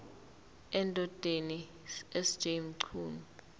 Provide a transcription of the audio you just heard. endodeni sj mchunu